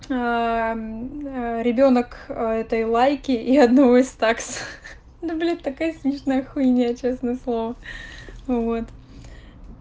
аа ребёнок этой лайки и одного из такс это блять такая смешная хуйня честное слово вот